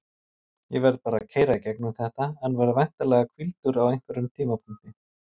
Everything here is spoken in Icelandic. Ég verð bara að keyra í gegnum þetta en verð væntanlega hvíldur á einhverjum tímapunkti.